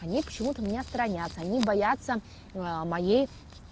они почему-то меня сторонятся они бояться моей